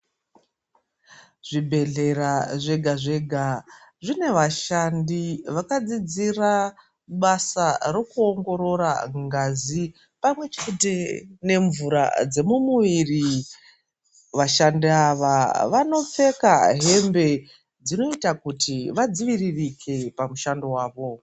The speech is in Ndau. Zvibhedhlera zvega zvega zvine vashandi vakadzidzira basa rekuoongorora ngazi pamwe chete nemvura dzemumuviri vashandi ava vanopfeka hbe dzinoita kuti vadziviririke pakushando wavo.